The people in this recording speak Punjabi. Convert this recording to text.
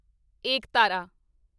ਏਕਤਾਰਾ